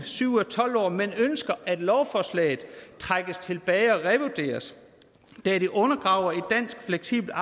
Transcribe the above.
syv ud af tolv år men ønsker at lovforslaget trækkes tilbage og revurderes da det undergraver et fleksibelt